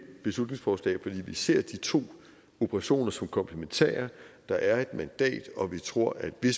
beslutningsforslag fordi vi ser de to operationer som komplementære der er et mandat og vi tror at det